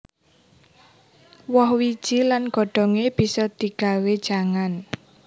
Woh wiji lan godhongé bisa digawé jangan